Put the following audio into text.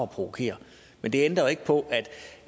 provokere men det ændrer jo ikke på